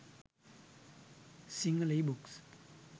sinhala e books